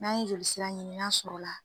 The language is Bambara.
N'an ye jolisira ɲini n'a sɔrɔ la